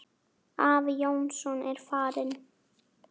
Afi Jónsson er farinn.